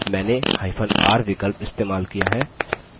मैंनेhyphen r विकल्प इस्तेमाल किया है